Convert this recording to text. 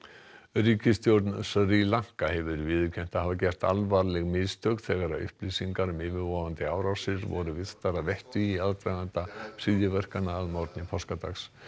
ríkisstjórn Sri Lanka hefur viðurkennt að hafa gert alvarleg mistök þegar upplýsingar um yfirvofandi árásir voru virtar að vettugi í aðdraganda hryðjuverkanna að morgni páskadags